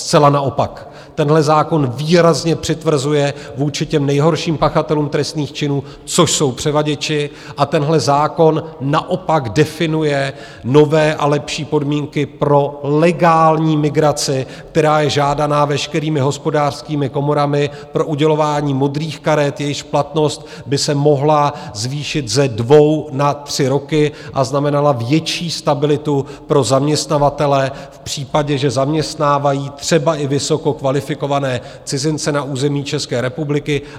Zcela naopak, tenhle zákon výrazně přitvrzuje vůči těm nejhorším pachatelům trestných činů, což jsou převaděči, a tenhle zákon naopak definuje nové a lepší podmínky pro legální migraci, která je žádaná veškerými hospodářskými komorami pro udělování modrých karet, jejichž platnost by se mohla zvýšit ze dvou na tři roky a znamenala větší stabilitu pro zaměstnavatele v případě, že zaměstnávají třeba i vysoce kvalifikované cizince na území České republiky.